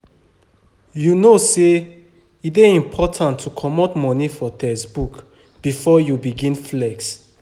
You know sey e dey important to comot money for textbook before you begin flex.